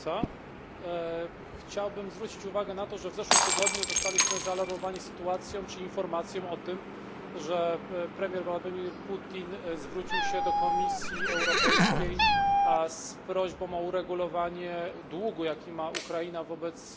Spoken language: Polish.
Chciałbym zwrócić uwagę na to, że w zeszłym tygodniu zostaliśmy zaalarmowani sytuacją czy informacją o tym, że premier Władimir Putin zwrócił się do Komisji Europejskiej z prośbą o uregulowanie długu, jaki ma Ukraina wobec Gazpromu.